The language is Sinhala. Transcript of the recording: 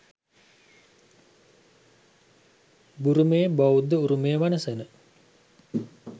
බුරුමයේ බෞද්ධ උරුමය වනසන